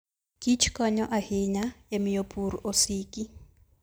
Kich konyo ahinya e miyo pur osiki.